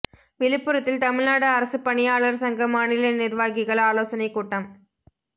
விழுப்புரத்தில் தமிழ்நாடு அரசுப் பணியாளர் சங்க மாநில நிர்வாகிகள் ஆலோசனைக் கூட்டம்